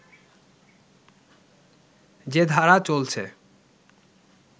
যে ধারা চলছে